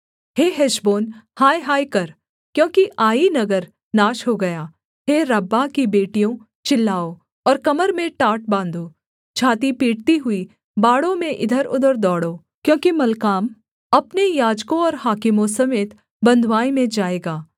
हे हेशबोन हायहाय कर क्योंकि आई नगर नाश हो गया हे रब्बाह की बेटियों चिल्लाओ और कमर में टाट बाँधो छाती पीटती हुई बाड़ों में इधरउधर दौड़ो क्योंकि मल्काम अपने याजकों और हाकिमों समेत बँधुआई में जाएगा